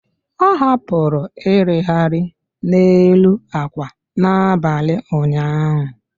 Ọ hapụrụ irighiri n'elu akwa n'abalị ụnyaahụ.